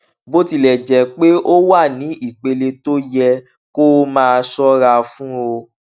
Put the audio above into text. bó tilè jé pé ó wà ní ìpele tó yẹ kó o máa ṣóra fún ó